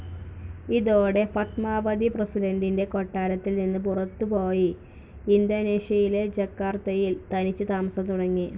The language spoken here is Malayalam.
ഇതോടെ, ഫത്മാവതി പ്രസിഡന്റിന്റെ കൊട്ടാരത്തിൽ നിന്ന് പുറത്തുപോയി ഇന്തോനേഷ്യയിലെ ജക്കാർത്തയിൽ തനിച്ച് താമസം തുടങ്ങി.